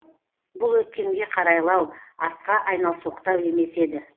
бұл өткенге қарайлау артқа айналсоқтау емес еді